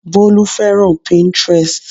Bólú fẹ́ràn Pinterest